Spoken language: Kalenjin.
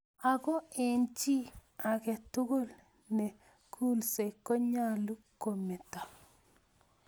Ako eng chi ake tugule ne kulsei konyalu kometo.